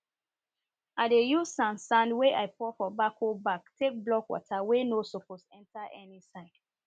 i dey use sand sand wey i pour for bako bag take block water wey no suppose enter any side